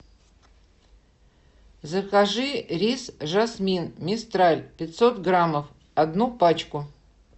закажи рис жасмин мистраль пятьсот грамм одну пачку